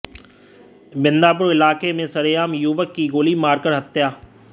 बिंदापुर इलाके में सरेआम युवक की गोली मारकर हत्या